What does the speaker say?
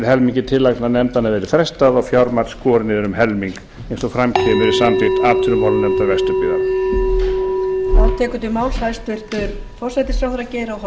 helmingi tillagna nefndarinnar verið frestað og fjármagn skorið niður um helming eins og fram kemur í samþykkt atvinnumálanefndar vesturbyggðar